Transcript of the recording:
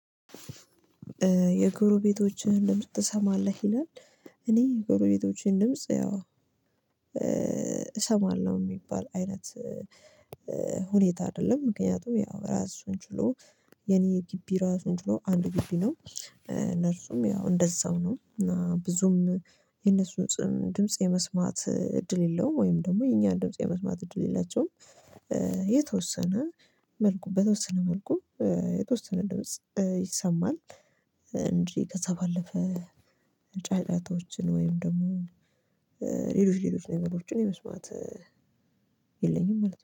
የጎሮቤቶችህን ድምጽ ትሰማለህ ይላል? እኔ የጎሮቤቶችህን ድምጽ ያው እሰማለሁ የሚባል አይነት ሁኔታ አይደለም። ምክንያቱም ያው ራሱን ችሎ የኔ የጊቢ ራሱን ችሎ አንድ ጊቢ ነው እነርሱም ያው እንደዛው ነው። እና ብዙም የነሱ ድምጽ የመስማት እድል የለውም ወይም ደግሞ የኛን ድምጽ የመስማት እድል የላቸውም። የተወሰነ መልኩ በተወሰነ መልኩ የተወሰነ ድምጽ ይሰማል። እንጂ ከዛ ባለፈ ጫጫታዎችን ወይም ደግሞ ሌሎች ሌሎች ነገሮችን የመስማት የለኝም ማለት ነው